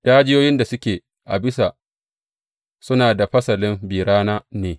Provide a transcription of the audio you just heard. Dajiyoyin da suke a bisa suna da fasalin bi rana ne.